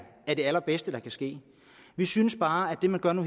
det allerbedste der kan ske vi synes bare at det man gør nu